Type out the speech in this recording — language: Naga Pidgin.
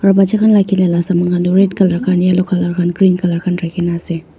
aru batcha khan laga khela laga saman khan tu red colour khan blue colour khan yellow colour green colour khan dekhi kina ase.